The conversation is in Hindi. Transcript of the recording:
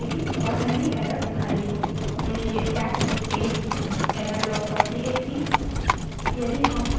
देखिए cat space errorlog dot TXT cat space errorlog dot txt